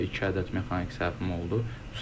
İki ədəd mexaniki səhvim oldu.